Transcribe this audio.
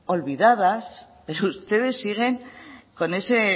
olvidadas pero ustedes siguen con ese